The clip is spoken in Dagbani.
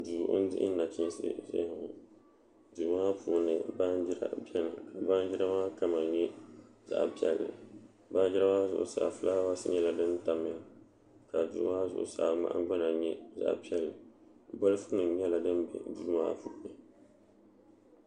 Duu n diɣi nachiinsi n ʒɛya ŋɔ duu maa puuni baanjira biɛni ka baanjira maa kama nyɛ zaɣ piɛlli baanjira maa zuɣusaa fulaawaasi nyɛla din tanya ka duu maa zuɣusaa nahangbana nyɛ zaɣ piɛlli bolfu nim nyɛla din bɛ duu maa puuni